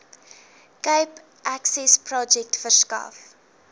cape accessprojek verskaf